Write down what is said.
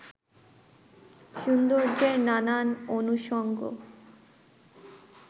সৌন্দর্যের নানান অনুষঙ্গ